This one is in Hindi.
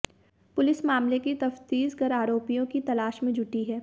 पुलिस मामले की तफ्तीश कर आरोपियों की तलाश में जुटी है